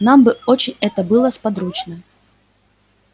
нам бы очень это было сподручно